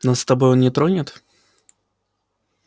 нас с тобой он не тронет